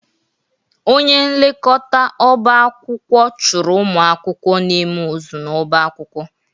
Onye nlekọta ọba akwụkwọ chụpụrụ ụmụ akwụkwọ na-eme ụzụ n'ọba akwụkwọ